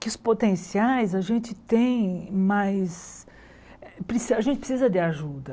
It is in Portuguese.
que os potenciais a gente tem mais... Precisa a gente precisa de ajuda.